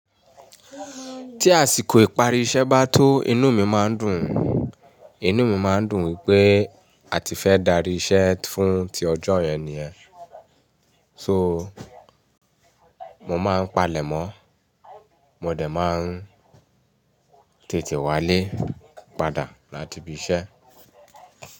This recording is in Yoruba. Tí àsìkò ìparí iṣẹ́ bá tó inú mi máa ń dùn, inú mi máa ń dùn wípé a ti fẹ́ darí iṣẹ́ fún ti ọjọ́ yẹn nìyẹn. So, mo máa ń palẹ̀mọ́, mo dẹ̀ máa ń tètè wálé padà láti ibi iṣẹ́.